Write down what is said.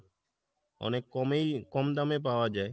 অনেক কমেই কম দামে পাওয়া যায়।